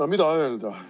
No mida öelda?